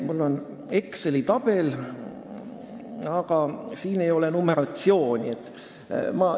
Mul on siin Exceli tabel, aga siin ei ole numeratsiooni.